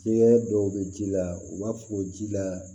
Fiɲɛ dɔw bɛ ji la u b'a fɔ ji la